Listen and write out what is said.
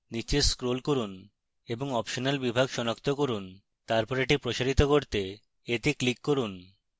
নীচে scroll করুন এবং optional বিভাগ সনাক্ত করুন